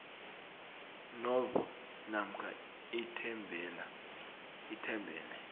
novo namkha ithembele